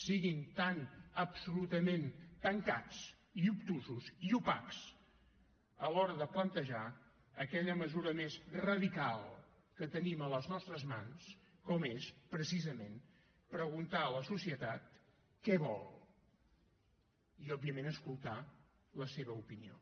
siguin tan absolutament tancats i obtusos i opacs a l’hora de plantejar aquella mesura més radical que tenim a les nostres mans com és precisament preguntar a la societat què vol i òbviament escoltar la seva opinió